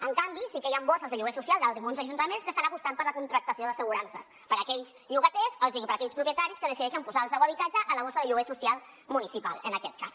en canvi sí que hi han borses de lloguer social d’alguns ajuntaments que estan apostant per la contractació d’assegurances per a aquells propietaris que decideixen posar el seu habitatge a la borsa de lloguer social municipal en aquest cas